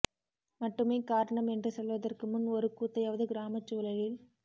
மட்டுமே காரணம் என்று சொல்வதற்கு முன் ஒரு கூத்தையாவது கிராமச் சூழலில்